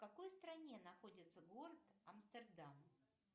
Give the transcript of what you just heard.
в какой стране находится город амстердам